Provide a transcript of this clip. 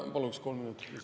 Paluks kolm minutit lisaaega.